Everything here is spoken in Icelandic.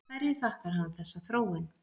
Hverju þakkar hann þessa þróun.